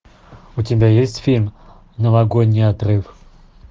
у тебя есть фильм новогодний отрыв